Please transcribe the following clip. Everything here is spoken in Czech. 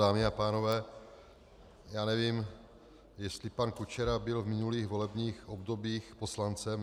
Dámy a pánové, já nevím, jestli pan Kučera byl v minulých volebních obdobích poslancem.